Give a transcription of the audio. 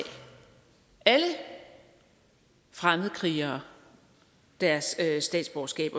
alle fremmedkrigere deres statsborgerskab